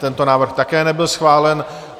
Tento návrh také nebyl schválen.